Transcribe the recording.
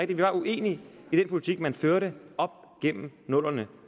vi var uenige i den politik man førte op gennem nullerne